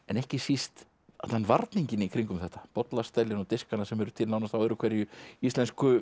en ekki síst allan varninginn í kringum þetta bollastellin og diskana sem eru til nánast á öðru hverju íslensku